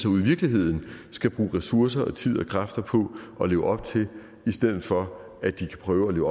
ude i virkeligheden skal bruge ressourcer og tid og kræfter på at leve op til i stedet for at de kan prøve